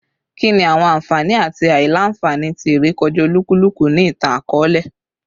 Kini awọn anfani ati aila-nfani ti irekọja olukuluku ni itan-akọọlẹ?